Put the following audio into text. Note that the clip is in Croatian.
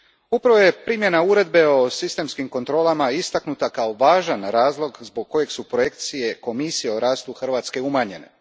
Upravo je primjena Uredbe o sistemskim kontrolama istaknuta kao važan razloga zbog kojeg su projekcije Komisije o rastu Hrvatske umanjene.